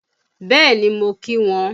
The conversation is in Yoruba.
Bẹ́ẹ̀ni, mo kí wọn.